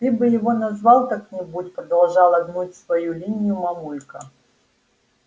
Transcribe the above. ты бы его назвал как-нибудь продолжала гнуть свою линию мамулька